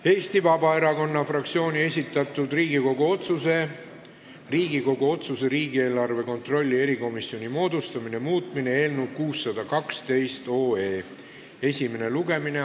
Eesti Vabaerakonna fraktsiooni esitatud Riigikogu otsuse "Riigikogu otsuse "Riigieelarve kontrolli erikomisjoni moodustamine" muutmine" eelnõu 612 esimene lugemine.